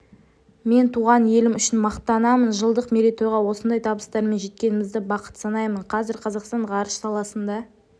мен туған елім үшін мақтанамын жылдық мерейтойға осындай табыстармен жеткенімізді бақыт санаймын қазір қазақстан ғарыш саласында